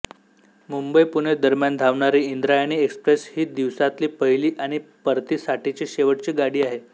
मुंबईपुणे दरम्यान धावणारी इंद्रायणी एक्सप्रेस ही दिवसातली पहिली आणि परतीसाठीची शेवटची गाडी आहे